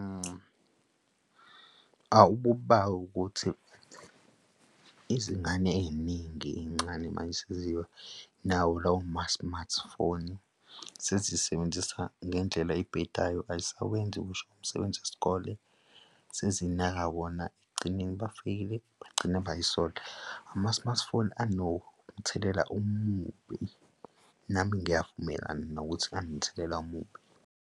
Awu, kuba ukuthi izingane ey'ningi ey'ncane mayesenziwa nawo lawo ma-smartphone sezisebenzisa ngendlela ebhedayo ay'sawenzi ngisho umsebenzi wesikole sezinaka wona ekugcineni bafeyile bagcina bay'sola. Ama-smartphone anomthelela omubi, nami ngiyavumelana nokuthi anomthelela omubi.